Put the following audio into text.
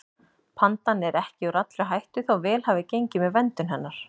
Pandan er ekki úr allri hættu þó vel hafi gengið með verndun hennar.